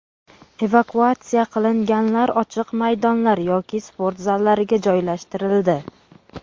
Evakuatsiya qilinganlar ochiq maydonlar yoki sport zallariga joylashtirildi.